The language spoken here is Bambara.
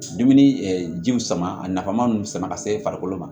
Dumuni jiw sama a nafa man nn sama ka se farikolo ma